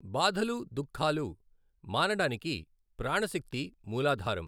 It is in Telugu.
బాధలు దుఃఖాలు మానడానికి ప్రాణశక్తి మూలాధారం.